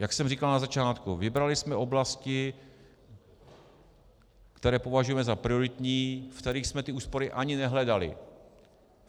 Jak jsem říkal na začátku, vybrali jsme oblasti, které považujeme za prioritní, ve kterých jsme ty úspory ani nehledali.